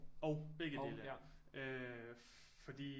Og begge dele øh fordi